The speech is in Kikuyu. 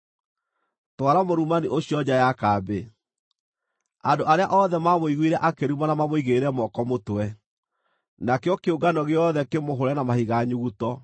“Twara mũrumani ũcio nja ya kambĩ. Andũ arĩa othe maamũiguire akĩrumana mamũigĩrĩre moko mũtwe, nakĩo kĩũngano gĩothe kĩmũhũũre na mahiga nyuguto.